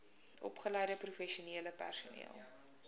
opgeleide professionele personeel